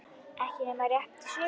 Ekki nema rétt í svip.